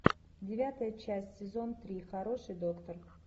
девятая часть сезон три хороший доктор